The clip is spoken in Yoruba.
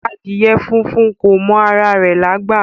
Adiẹ fúnfún kò mọ àrà rẹ̀lágbà